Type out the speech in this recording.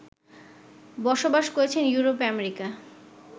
বসবাস করছেন Europe America